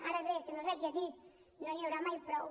ara bé també els ho haig de dir no n’hi haurà mai prou